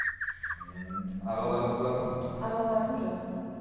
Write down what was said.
ммм ағаларыңыз бар ма ағаларым жоқ